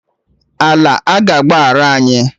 Ala aga agbaghara anyị?